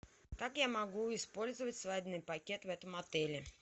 как я могу использовать свадебный пакет в этом отеле